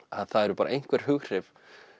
að það eru bara einhver hughrif